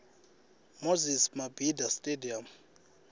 moses mabida stadium